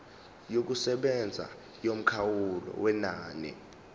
yokusebenza yomkhawulo wenani